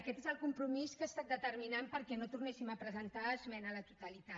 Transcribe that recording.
aquest és el compromís que ha estat determinant perquè no tornéssim a presentar esmena a la totalitat